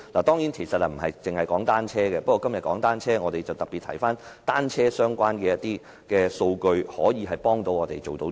當然，其實這不限於單車，但今天我們討論單車政策，因此我便特別提及與單車有關的數據可以如何幫助我們。